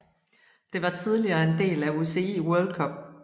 Det var tidligere en del af UCI World Cup